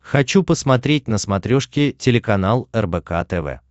хочу посмотреть на смотрешке телеканал рбк тв